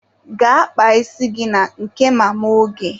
Gaa kpaa isi gị na nke Mama Oge!